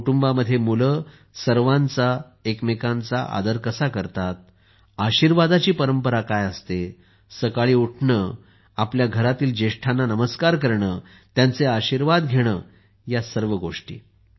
कुटुंबात मुले सर्वांचा एकमेकांचा आदर कसा करतात आशीर्वादाची परंपरा काय असते सकाळी उठणे आपल्या घरातील ज्येष्ठांना नमस्कार करणे त्यांचे आशीर्वाद घेणे या सर्व गोष्टी